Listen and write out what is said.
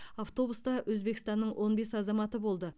автобуста өзбекстанның он бес азаматы болды